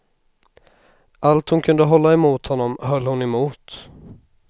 Allt hon kunde hålla emot honom höll hon emot.